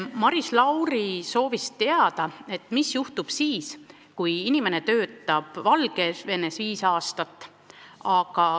Maris Lauri soovis teada, et mis juhtub siis, kui inimene töötab Valgevenes viis aastat.